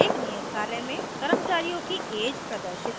एक नियत कार्य में कर्मचारियों की ऐज प्रदर्शित करें